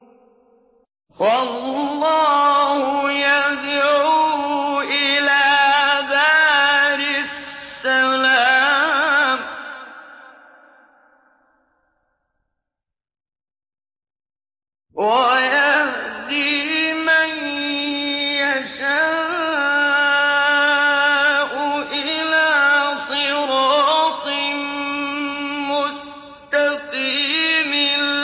وَاللَّهُ يَدْعُو إِلَىٰ دَارِ السَّلَامِ وَيَهْدِي مَن يَشَاءُ إِلَىٰ صِرَاطٍ مُّسْتَقِيمٍ